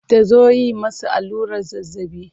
Ta zo yi masa allurar zazzabi.